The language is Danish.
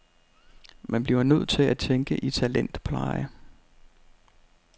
Man bliver nødt til at tænke i talentpleje.